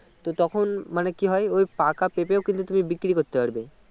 তো তখন মানে কি হয় পাকা পেঁপেও কিন্তু তুমি বিক্রি করতে পারবে